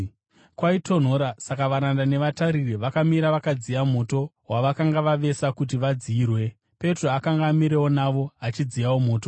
Kwaitonhora, saka varanda nevatariri vakamira vakadziya moto wavakanga vavesa kuti vadziyirwe. Petro akanga amirewo navo, achidziyawo moto.